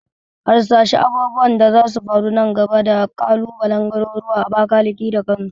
Harsashi abubuwan da zasu faru nan gaba da kalubalen garuruwan Abakalaki da Kano